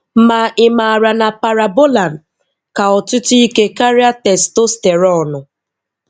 Ma, ị maara na Parabolan ka ọtụtụ ike karịa testosteronu?